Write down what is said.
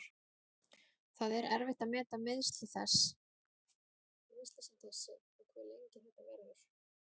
Það er erfitt að meta meiðsli sem þessi og hve lengi þetta verður.